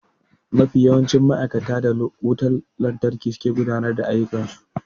Mafi yawancin ma'aikata da wutar lantarki suke gudanar da ayyukan su.